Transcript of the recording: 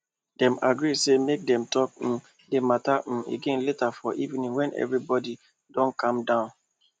dem agree say make dem talk um the matter um again later for evening when everybody don calm down